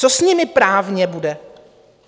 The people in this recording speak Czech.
Co s nimi právně bude?